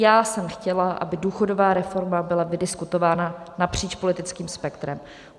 Já jsem chtěla, aby důchodová reforma byla vydiskutována napříč politickým spektrem.